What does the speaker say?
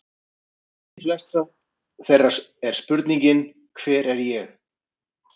Kjarni flestra þeirra er spurningin: Hver er ég?